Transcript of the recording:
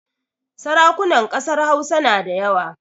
Sarakunan ƙasar Hausa na da yawa